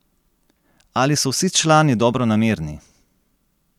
Ali so vsi člani dobronamerni?